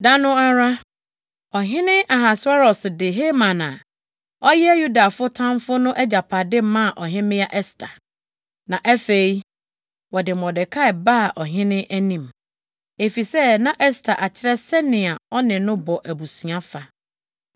Da no ara, Ɔhene Ahasweros de Haman a ɔyɛ Yudafo tamfo no agyapade + 8.1 Saa bere no, Ɔhene no de ne nsa to obi a wɔabu no kumfɔ no agyapade so. maa Ɔhemmea Ɛster. Na afei, wɔde Mordekai baa ɔhene anim, efisɛ na Ɛster akyerɛ sɛnea ɔne no bɔ abusua fa.